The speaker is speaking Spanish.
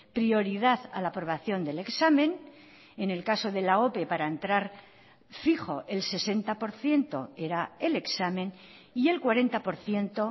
prioridad a la aprobación del examen en el caso de la ope para entrar fijo el sesenta por ciento era el examen y el cuarenta por ciento